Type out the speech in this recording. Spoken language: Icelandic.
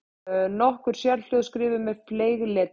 Nokkur sérhljóð skrifuð með fleygletri.